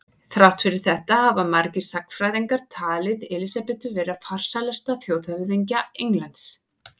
Þrátt fyrir þetta hafa margir sagnfræðingar talið Elísabetu vera farsælasta þjóðhöfðingja Englands.